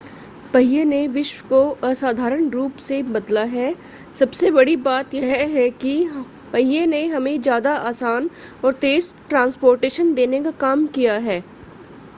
पहिए ने विश्व को असाधारण रूप से बदला है सबसे बड़ी बात यह है कि पहिए ने हमें ज़्यादा आसान और तेज़ ट्रांस्पोर्टेशन देने का काम किया है